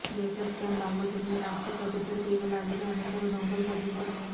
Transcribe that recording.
data scam బాగోతంలో రాష్ట్ర ప్రభుత్వ తీగలాగితే అనేక డొంకలు కదులుతున్నాయి